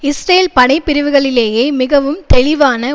Israel படைப்பிரிவுகளிலேயே மிகவும் தெளிவான